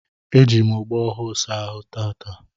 Eji m ogbo ọhụụ saa ahụ taata